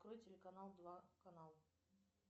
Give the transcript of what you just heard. открой телеканал два канал